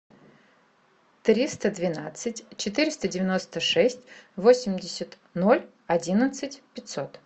триста двенадцать четыреста девяносто шесть восемьдесят ноль одиннадцать пятьсот